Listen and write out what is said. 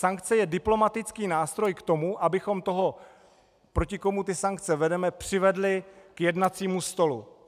Sankce je diplomatický nástroj k tomu, abychom toho, proti komu ty sankce vedeme, přivedli k jednacímu stolu.